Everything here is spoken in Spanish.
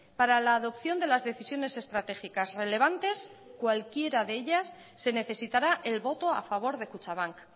para la adopción de las decisiones estratégicas relevantes cualquiera de ellas se necesitará el voto a favor de kutxabank